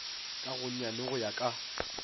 ka gonyane go ya ka